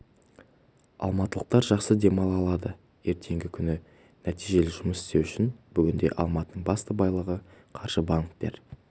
алматылықтар жақсы демала алады ертеңгі күні нәтижелі жұмыс істеу үшін бүгінде алматының басты байлығы қаржы банктер